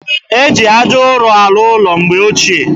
E ji aja ụrọ arụ ụlọ mgbe ochie